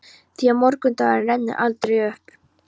Því að morgundagurinn rennur aldrei upp.